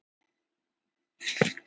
Engir tölvupóstar í húsi